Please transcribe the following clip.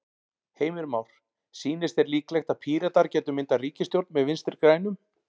Heimir Már: Sýnist þér líklegt að Píratar gætu myndað ríkisstjórn með Vinstri-grænum?